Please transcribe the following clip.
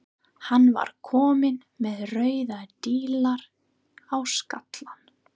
Hann var kominn með rauða díla á skallann.